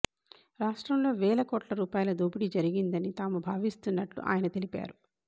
రాష్ట్రంలో వేల కోట్ల రూపాయల దోపిడీ జరిగిందని తాము భావిస్తున్నట్లు ఆయన తెలిపారు